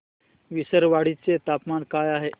विसरवाडी चे तापमान काय आहे